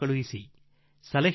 ಇದು ನಿಮಗೆ ನನ್ನ ಆಹ್ವಾನವಾಗಿದೆ